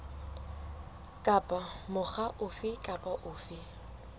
kapa mokga ofe kapa ofe